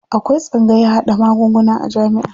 Akwai tsangayan haɗa magunguna a jamiʼa.